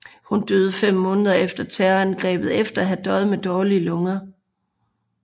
Hun døde fem måneder efter terrorangrebet efter at have døjet med dårlige lunger